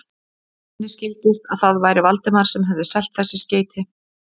Henni skildist, að það væri Valdimar sem hefði selt þessi skeyti.